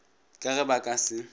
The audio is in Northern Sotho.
ka ge ba ka se